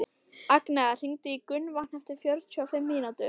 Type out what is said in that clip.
Agnea, hringdu í Gunnvant eftir fjörutíu og fimm mínútur.